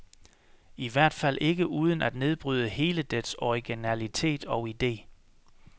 I hvert fald ikke uden at nedbryde hele dets originalitet og ide.